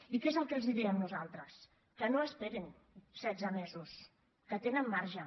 i què és el que els diem nosaltres que no esperin setze mesos que tenen marge